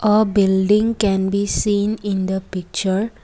a building can be seen in the picture.